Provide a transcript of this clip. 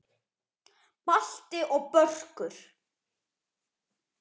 Balti og Börkur!